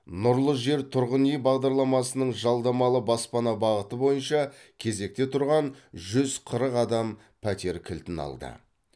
нұрлы жер тұрғын үй бағдарламасының жалдамалы баспана бағыты бойынша кезекте тұрған жүз қырық адам пәтер кілтін алды